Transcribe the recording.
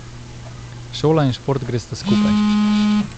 Šola in šport gresta skupaj.